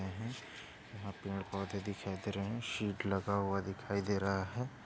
यहा पे पेड़ पौधे दिखाई दे रहे है शीट लगा हुआ दिखाई दे रहा है।